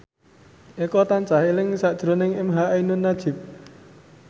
Eko tansah eling sakjroning emha ainun nadjib